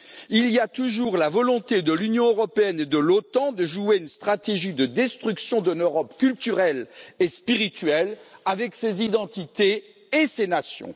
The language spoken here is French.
Il y a toujours la volonté de l'Union européenne et de l'OTAN de jouer une stratégie de destruction d'une Europe culturelle et spirituelle, avec ses identités et ses nations.